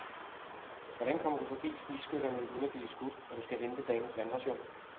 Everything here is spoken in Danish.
Hvordan kommer du forbi snigskytterne uden at blive skudt, når du skal hente dagens vandration?